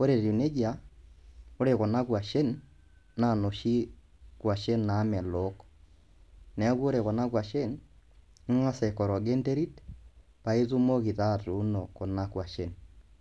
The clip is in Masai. ore etiu neja, ore kuna koshen naa noshi koshien naamelok, neaku ore kuna kwashen, ingas aikorogen enterit paa itumoki taa atuuno kuna kuashen.